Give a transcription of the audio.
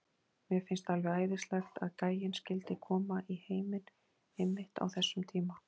Mér fannst alveg æðislegt að gæinn skyldi koma í heiminn einmitt á þessum tíma.